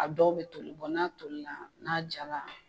A dɔw bɛ toli n'a tolila n'a jara